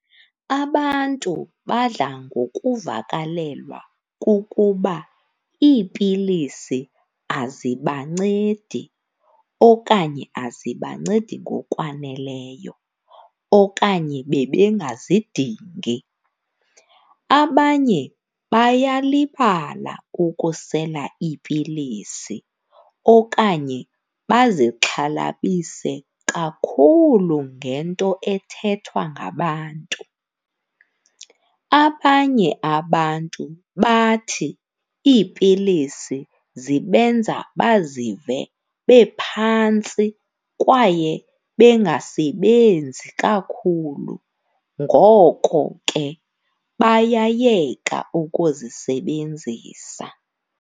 Abantu badla ndokuvakalelwa kukuba iipilisi azibancedi okanye azibancedi ngokwaneleyo, okanye bebengazidingi. Abanye bayalibala ukusela iipilisi okanye bazixhalabise kakhulu ngento ethethwa ngabantu. Abanye abantu bathi iipilisi zibenza baziva bephantsi kwaye bengasebenzi kakhulu. Ngoko ke bayayeka ukuzisebenzisa.